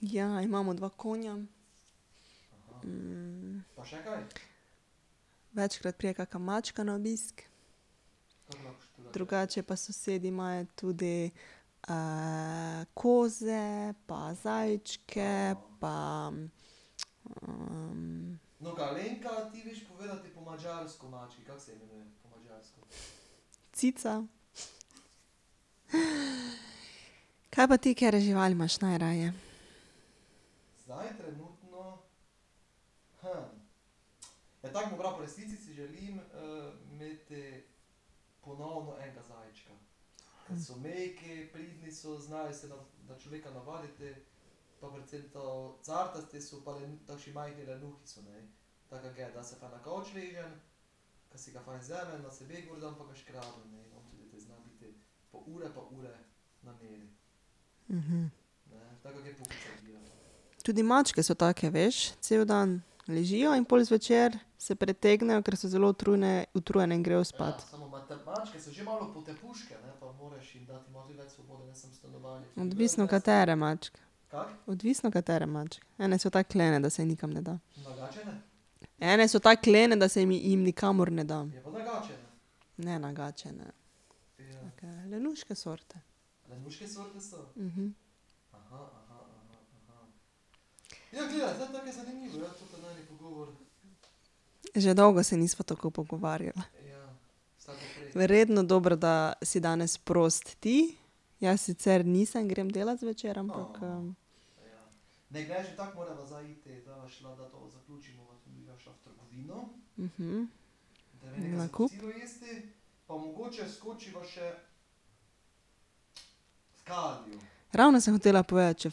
Ja, imamo dva konja. Večkrat pride kaka mačka na obisk. Drugače pa sosedi imajo tudi koze pa zajčke pa ... Cica. Kaj pa ti, katere živali imaš najraje? Tudi mačke so take, veš, cel dan ležijo in pol zvečer se pretegnejo, ker so zelo utrujene, utrujene, in grejo spat. Odvisno, katere mačke. Odvisno, katere Ene so tako lene, da se jim nikam ne da. Ene so tako lene, da se jim nikamor ne da. Že dolgo se nisva tako pogovarjala. Verjetno dobro, da si danes prost ti, jaz sicer nisem, grem delat zvečer, ampak ... Nakup. Ravno sem hotela povedati;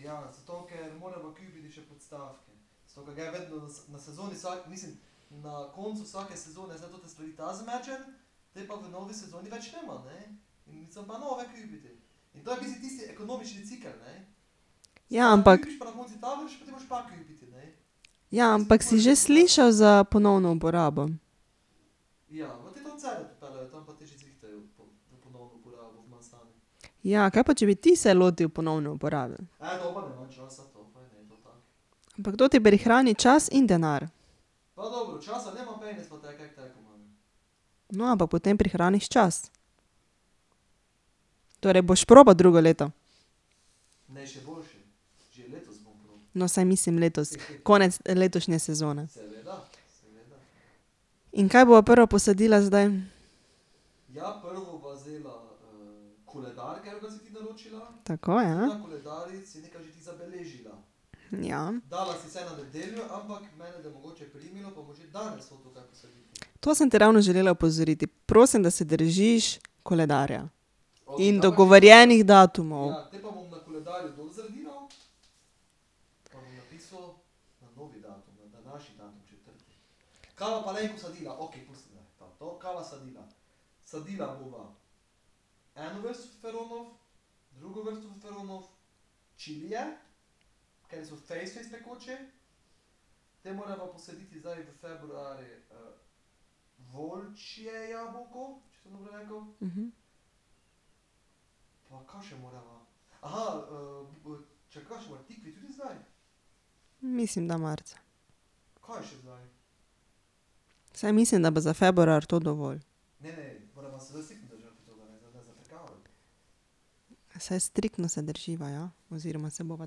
še v Kalio. Ja, ampak ... Ja, ampak si že slišal za ponovno uporabo? Ja, kaj pa če bi ti se lotil ponovne uporabe? Ampak to ti prihrani čas in denar. No, pa potem prihraniš čas. Torej boš probal drugo leto? No, saj mislim letos, konec letošnje sezone. In kaj bova prvo posadila zdaj? Tako, ja. Ja. To sem te ravno želela opozoriti, prosim, da se držiš koledarja. In dogovorjenih datumov. Mislim, da marca. Saj mislim, da bo za februar tudi dovolj. Saj striktno se drživa, ja, oziroma se bova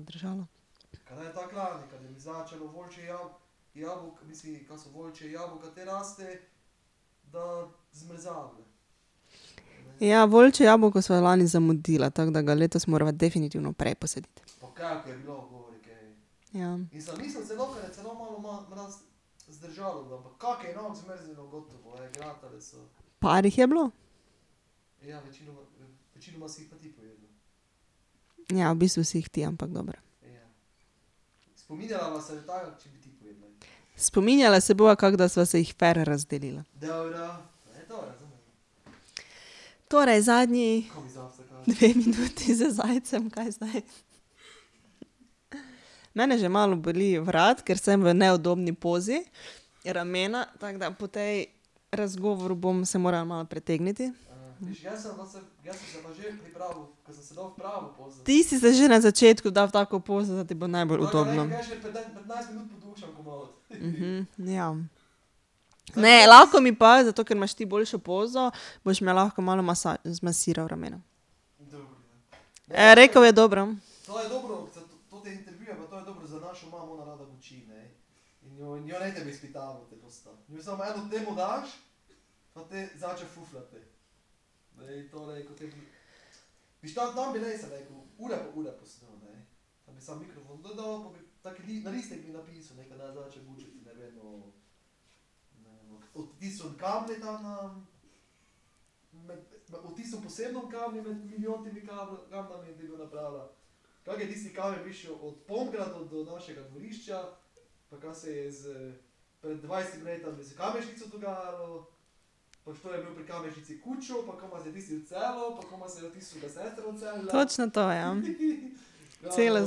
držala. Ja, volčje jabolko sva lani zamudila, tako da ga letos morava definitivno prej posaditi. Ja. Par jih je bilo. Ja, v bistvu si jih ti, ampak dobro. Spominjala se bova, kako da sva se jih fer razdelila. Torej, zadnji dve minuti za zajce, kaj zdaj? Mene že malo boli vrat, ker sem v neudobni pozi, ramena, tako da po tej razgovoru bom, se moram malo pretegniti. Ti si se že na začetku dal v tako pozo, da ti bo najbolj udobno. ja. Ne, lahko mi pa, zato ker imaš ti boljšo pozo, boš me lahko malo zmasiral ramena. rekel je: "Dobro." Točno to, ja. Cela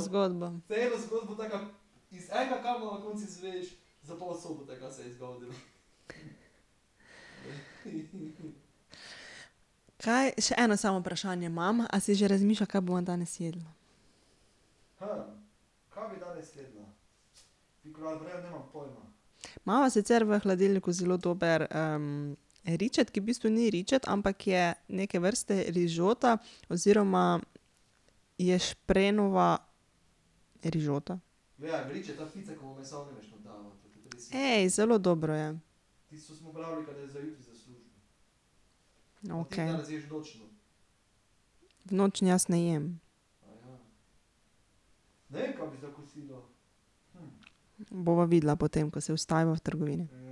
zgodba. Kaj, še eno samo vprašanje imam. A si že razmišljal, kaj bova danes jedla? Imava sicer v hladilniku zelo dober ričet, ki v bistvu ni ričet, ampak je neke vrsta rižota oziroma ješprenjeva rižota. zelo dobro je. V nočni jaz ne jem. Bova videla potem, ko se ustaviva v trgovini.